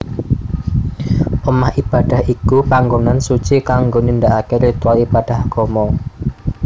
Omah Ibadah iku pangonan suci kanggo nindakaké ritual ibadah agama